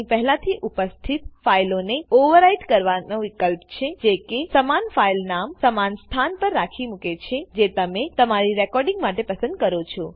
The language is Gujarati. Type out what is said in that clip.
અહી પહેલાથી ઉપસ્થિત ફાઈલોને ઓવરરાઈટ કરવાનો વિકલ્પ છે જે કે સમાન ફાઈલ નામ સમાન સ્થાન પર રાખી મુકે છેજે તમે તમારી રેકોડીંગ માટે પસંદ કરો છો